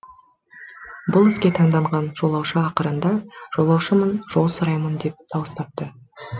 бұл іске таңданған жолаушы ақырында жолаушымын жол сұраймын деп дауыстапты